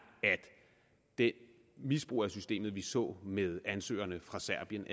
at det misbrug af systemet som vi så med ansøgerne fra serbien